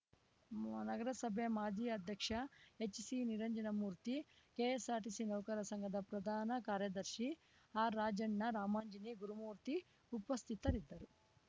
ನಗರಸಭೆ ಮಾಜಿ ಅಧ್ಯಕ್ಷ ಎಚ್‌ಸಿನಿರಂಜನಮೂರ್ತಿ ಕೆಎಸ್‌ಆರ್‌ಟಿಸಿ ನೌಕರರ ಸಂಘದ ಪ್ರಧಾನ ಕಾರ್ಯದರ್ಶಿ ಆರ್‌ರಾಜಣ್ಣ ರಾಮಾಂಜನಿ ಗುರುಮೂರ್ತಿ ಉಪಸ್ಥಿತರಿದ್ದರು